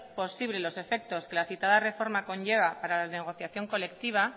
posible los efectos que la citada reforma conlleva para la negociación colectiva